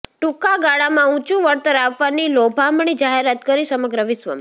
ટૂંકાગાળામાં ઉંચુ વળતર આપવાની લોભામણી જાહેરાત કરી સમગ્ર વિશ્વમાં